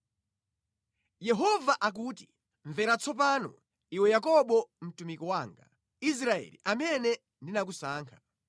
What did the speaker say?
Yehova akuti, “Mvera tsopano, iwe Yakobo, mtumiki wanga, Israeli, amene ndinakusankha.